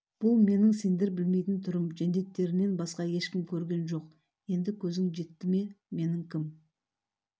бұл менің сендер білмейтін түрім жендеттерінен басқа ешкім көрген жоқ енді көзің жетті ме менің кім